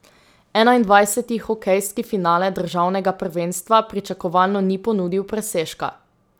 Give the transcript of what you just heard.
Enaindvajseti hokejski finale državnega prvenstva pričakovano ni ponudil presežka.